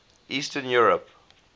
eastern europe